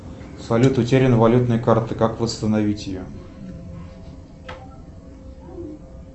салют утеряна валютная карта как восстановить ее